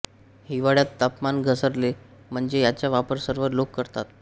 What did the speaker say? हिवाळ्यात तापमान घसरले म्हणजे याचा वापर सर्व लोकं करतात